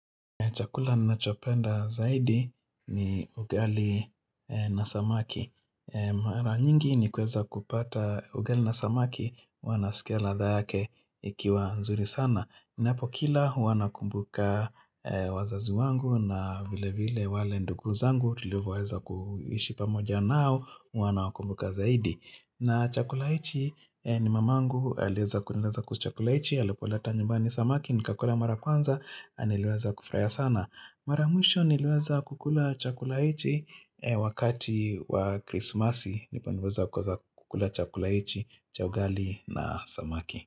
Chakula ninachopenda zaidi ni ugali na samaki. Mara nyingi nikiweza kupata ugali na samaki huwa naskia ladha yake ikiwa nzuri sana. Napokila huwa nakumbuka wazazi wangu na vile vile wale ndugu zangu tulivyoweza kuishi pamoja nao huwa nawakumbuka zaidi. Na chakula ichi ni mamangu alieza kukula chakula ichi, alipoleta nyumbani samaki, nikakula mara kwanza, na niliweza kufuruhia sana. Mara mwisho niliweza kukula chakula ichii wakati wa krismasi, nipo niliweza kukula chakula ichii, cha ugali na samaki.